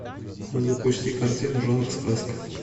запусти картину жанр сказка